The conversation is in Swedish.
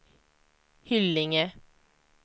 Hyllinge